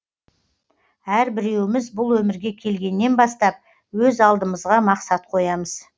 әрбіреуіміз бұл өмірге келгеннен бастап өз алдымызға мақсат қоямыз